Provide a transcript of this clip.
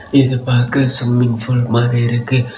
இது பாக்க swimming pool மாரி இருக்கு.